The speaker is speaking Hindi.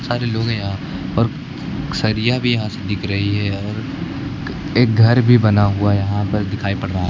सारे लोग है यहां और सरिया भी यहां से दिख रही है और एक घर भी बना हुआ यहां पर दिखाई पड़ रहा --